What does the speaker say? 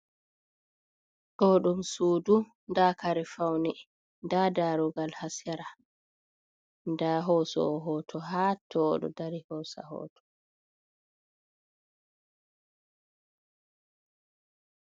To ɗum sudu, nda kare faune, nda darugal ha sera. Nda hosowo hoto ha to, o ɗo dari hosa hoto.